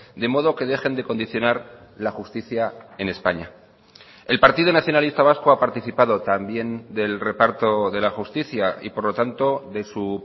de modo que dejen de condicionar la justicia en españa el partido nacionalista vasco ha participado también del reparto de la justicia y por lo tanto de su